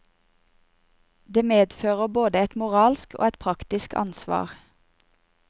Det medfører både et moralsk og et praktisk ansvar.